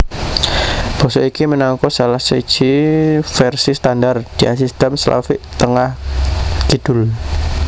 Basa iki minangka salah siji vèrsi standar diasistem Slavik Tengah kidul